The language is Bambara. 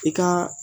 I ka